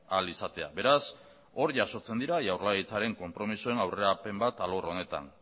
ahal izatea beraz hor jasotzen dira jaurlaritzaren konpromezuen aurrerapen bat alor honetan